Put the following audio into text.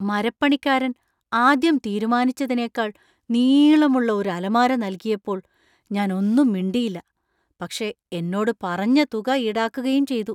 മരപ്പണിക്കാരൻ ആദ്യം തീരുമാനിച്ചതിനേക്കാൾ നീളമുള്ള ഒരു അലമാര നൽകിയപ്പോൾ ഞാൻ ഒന്നും മിണ്ടിയില്ല , പക്ഷേ എന്നോട് പറഞ്ഞ തുക ഈടാക്കുകയും ചെയ്തു.